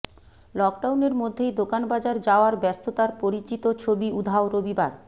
লকডাউনের মধ্যেই দোকান বাজার যাওয়ার ব্যস্ততার পরিচিত ছবি উধাও রবিবার